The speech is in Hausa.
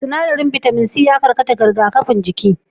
Sinaɗarin bitamin c yana karkata rigakafin jikin